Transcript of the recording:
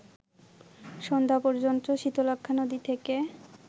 সন্ধ্যা পর্যন্ত শীতলক্ষ্যা নদী থেকে